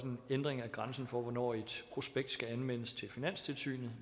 en ændring af grænsen for hvornår et prospekt skal anmeldes til finanstilsynet